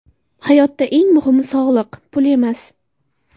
Hayotda eng muhimi sog‘liq, pul emas.